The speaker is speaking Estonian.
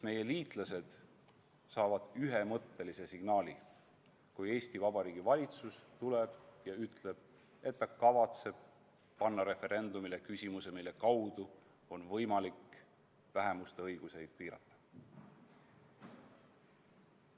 Meie liitlased saavad ühemõttelise signaali, kui Eesti Vabariigi valitsus tuleb ja ütleb, et ta kavatseb panna referendumile küsimuse, mille kaudu on võimalik vähemuste õigusi piirata.